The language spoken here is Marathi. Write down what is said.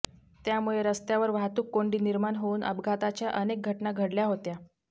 त्यामुळे रस्त्यावर वाहतुककोंडी निर्माण होऊन अपघाताच्या अनेक घटना घडल्या होत्या